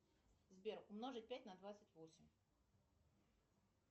сбер умножить пять на двадцать восемь